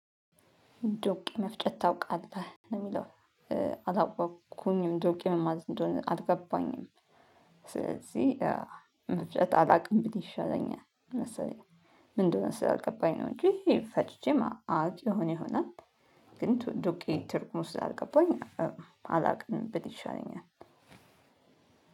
ዶቄ መፍጨት ታውቃለህ ነው የሚለው። አላወቅኩኝም ዶቄ ምን ማለት እንደሆነ አልገባኝም። ስለዚህ መፍጨት አላውቅም ብል ይሻለኛል መሰለኝ። ምን እንደሆነ ስላልገባኝ ነው እንጂ ፈጭቼም አቅ ይሆን ይሆናል። ግን ዱቄ ትርጉሙ ስላልገባኝ አላውቅም ብል ይሻለኛል።